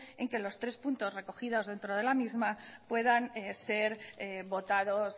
en el que los tres puntos recogidos dentro de la misma puedan ser votados